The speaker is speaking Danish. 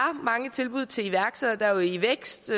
mange tilbud til iværksættere der er ivækst